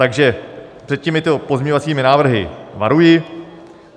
Takže před těmito pozměňovacími návrhy varuji.